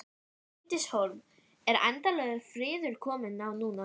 Bryndís Hólm: Er endanlegur friður kominn á núna?